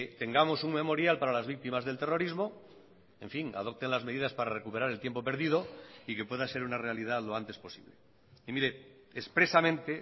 tengamos un memorial para las víctimas del terrorismo en fin adopten las medidas para recuperar el tiempo perdido y que pueda ser una realidad lo antes posible y mire expresamente